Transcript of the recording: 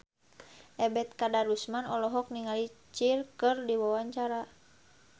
Ebet Kadarusman olohok ningali Cher keur diwawancara